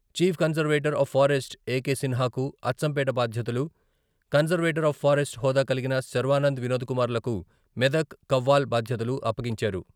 Chief conservator of forest A K సిన్హాకు అచ్చంపేట బాధ్యతలు, conservator of forest హోదా కలిగిన శర్వానంద్, వినోద్ కుమార్ లకు మెదక్, కవ్వాల్ బాధ్యతలు అప్పగించారు.